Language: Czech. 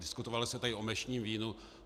Diskutovalo se tady o mešním vínu.